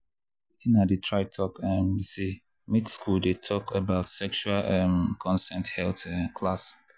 watin i dey try talk um be say make school dey talk about sexual um consent health um class.